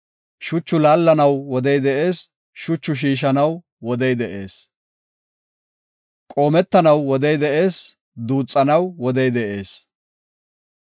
Shuchu laallanaw wodey de7ees; shuchu shiishanaw wodey de7ees. Qoometanaw wodey de7ees; duuxanaw wodey de7ees.